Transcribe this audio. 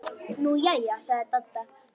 Nú jæja sagði Dadda.